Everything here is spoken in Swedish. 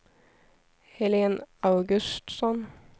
Helen Augustsson